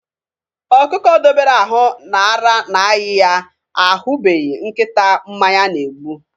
Ọkụkọ dobere ahụ na ara na-ayị ya ahụbeghị nkịta mmanya na-egbu.